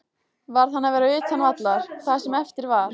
Varð hann að vera utan vallar það sem eftir var?